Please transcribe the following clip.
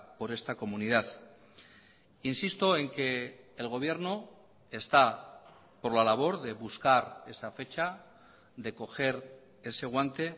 por esta comunidad insisto en que el gobierno está por la labor de buscar esa fecha de coger ese guante